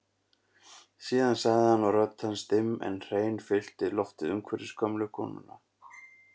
Síðan sagði hann og rödd hans dimm en hrein fyllti loftið umhverfis gömlu konuna